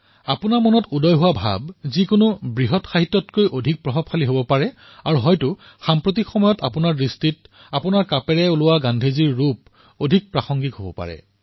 আপোনাৰ অন্তৰ্মনৰ কথা যিকোনো বৃহৎ সাহিত্য ৰচনাতকৈ অধিক শক্তিশালী হব আৰু হব পাৰে আজিৰ সময়ত আপোনাৰ দৃষ্টিত আপোনাৰ কলমৰ পৰা ওলোৱা গান্ধীৰ এই ৰূপে অধিক প্ৰাসংগিক হৈ উঠিব পাৰে